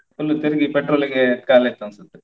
full ತಿರುಗಿ petrol ಗೆ ಖಾಲಿಯಾಯ್ತು ಅನ್ಸುತ್ತೆ.